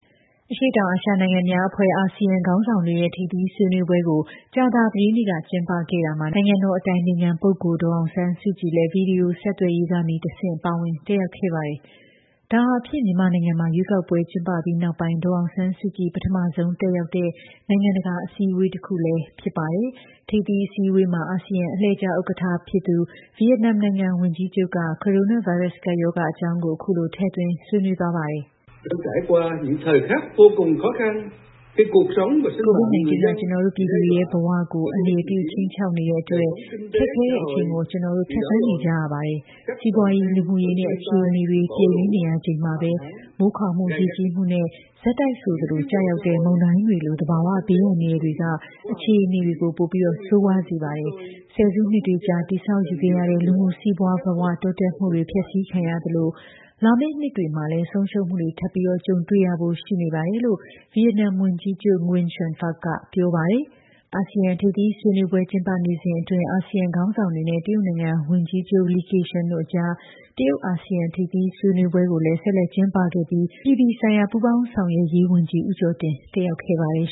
အရှေ့တောင်အာရှနိုင်ငံများအဖွဲ့ (ASEAN) ခေါင်းဆောင်တွေရဲ့ ထိပ်သီး ဆွေးနွေးပွဲကို ကြာသပတေးနေ့က ကျင်းပခဲ့ရာမှာ နိုင်ငံတော်အတိုင်ပင်ခံပုဂ္ဂိုလ် ဒေါ်အောင်ဆန်းစုကြည်လည်း ဗွီဒီယိုဆက်သွယ်ရေးကနေ တဆင့် ပါဝင် တက်ရောက်ခဲ့ပါတယ်။ ဒါဟာဖြင့် မြန်မာနိုင်ငံမှာ ရွေးကောက်ပွဲ ကျင်းပပြီးနောက်ပိုင်း ဒေါ်အောင်ဆန်းစုကြည် ပထမဆုံးတက်ရောက်တဲ့ နိုင်ငံတကာအစည်းအဝေး တခုလည်းဖြစ်ပါတယ်။ ထိပ်သီး အစည်းအဝေးမှာ အာဆီယံ အလှည့်ကျ ဥက္ကဋ္ဌ ဖြစ်သူ ဗီယက်နမ်နိုင်ငံ ဝန်ကြီးချုပ်က ကိုရိုနာဗိုင်းရပ်စ် ကပ်ရောဂါ အကြောင်းကို အခုလို ထည့်သွင်း ဆွေးနွေးသွားပါတယ်။ "COVID-19 က ကျနော်တို့ ပြည်သူတွေရဲ့ ဘဝတွေကို အန္တရာယ်ပြု ခြိမ်းခြောက်နေတဲ့အတွက် ခက်ခဲတဲ့ အချိန်ကို ကျနော်တို့ ဖြတ်သန်းနေကြရပါတယ်။ စီးပွားရေးနဲ့ လူမှုရေး အခြေအနေတွေ ပျက်ယွင်းနေရချိန်မှာပဲ မိုးခေါင်မှု၊ ရေကြီးမှုနဲ့ ဆက်တိုက်ဆိုသလို ကျရောက်တဲ့ မုန်တိုင်းတွေလို သဘာဝ ဘေးအန္တရာယ်တွေက အခြေအနေကို ပိုပြီး ဆိုးရွားနေစေပါတယ်။ ဆယ်စုနှစ်တွေကြာ တည်ဆောက်ယူခဲ့ရတဲ့ လူမှု စီးပွားဘဝ တိုးတက်မှုတွေလည်း ဖျက်ဆီးခံရသလို လာမယ့် နှစ်တွေမှာလည်း ဆုံးရှုံးမှုတွေ ထပ်မံ ကြုံတွေ့ရဖို့ ရှိနေပါတယ်။" လို့ ဗီယက်နမ် ဝန်ကြီးချုပ် NGUYEN XUAN PHUC က ပြောပါတယ်။ အာဆီယံ ထိပ်သီး ဆွေးနွေးပွဲ ကျင်းပနေစဉ်အတွင်း အာဆီယံ ခေါင်းဆောင်တွေနဲ့ တရုတ်နိုင်ငံ ဝန်ကြီးချုပ် Ki Keqiang တို့ အကြား တရုတ်၊ အာဆီယံ ထိပ်သီး ဆွေးနွေးပွဲကိုလည်း ဆက်လက် ကျင်းပခဲ့ပြီး အပြည်ပြည်ဆိုင်ရာ ပူးပေါင်းဆောင်ရွက်ရေးဝန်ကြီး ဦးကျော်တင် တက်ရောက်ခဲ့ပါတယ်